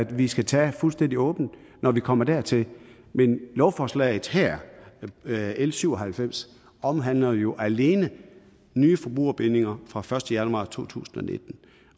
vi skal tage fuldstændig åbent når vi kommer dertil men lovforslaget her l syv og halvfems omhandler jo alene nye forbrugerbindinger fra den første januar to tusind